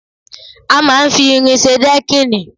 A máa ń fi irin ṣe dẹ́kìnì